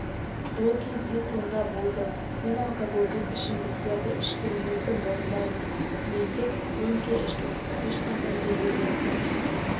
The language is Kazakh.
ол кезде сонда болды мен алкогольдік ішімдіктерді ішкенімізді мойындаймын мен тек рөмке іштім ешқандай төбелесті